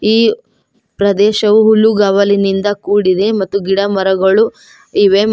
ಈ ಪ್ರದೇಶವು ಹೊಲ್ಲುಗಾವಲಿನಿಂದ ಕೂಡಿದೆ ಮತ್ತು ಗಿಡ ಮರಗಳು ಇವೆ ಮ--